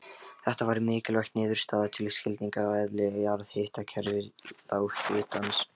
Þetta er mikilvæg niðurstaða til skilnings á eðli jarðhitakerfa lághitans.